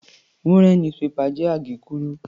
Wúnrẹ̀n "newspaper" jẹ́ àgékúrú.